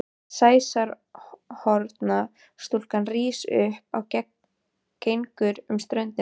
Sæsorfna stúlkan rís upp og gengur um ströndina.